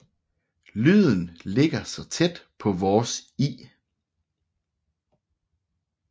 Lyden ligger tæt på vores i